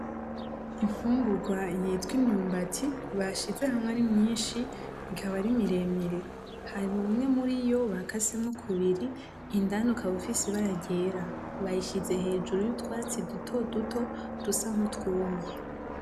Imfungurwa yitwa imyumbati, bashize hamwe ari myinshi ikaba ari miremire. Hari umwe muri iyo bakase kubiri indani ukaba ufise ibara ryera, bayishize hejuru y'utwatsi duto duto dusa n'utwumye.